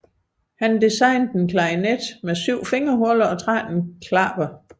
Han designede en klarinet med syv fingerhuller og tretten klapper